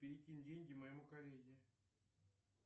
перекинь деньги моему коллеге